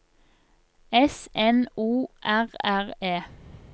S N O R R E